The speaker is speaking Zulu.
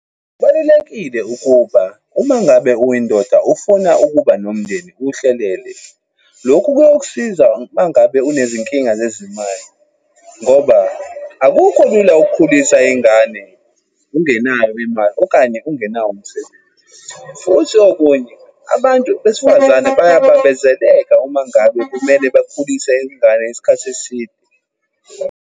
Kubalulekile ukuba, uma ngabe uyindoda ufuna ukuba nomndeni uwuhlelele. Lokhu kuyokusiza uma ngabe unezinkinga zezimali, ngoba akukho lula ukukhulisa ingane ungenayo imali, okanye ungenawo umsebenzi. Futhi okunye abantu besifazane bayabambezeleka uma ngabe kumele bakhulise ingane isikhathi eside.